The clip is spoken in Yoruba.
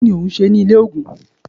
kí ni òun se ní ilé ògùn?